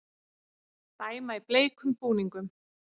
Dæma í bleikum búningum